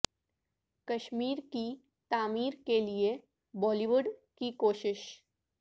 کشمیر کی تعمیر کے لیے بالی وڈ کی کوشش